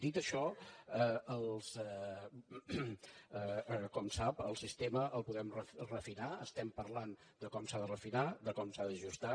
dit això com sap el sistema el podem refinar estem parlant de com s’ha de refinar de com s’ha d’ajustar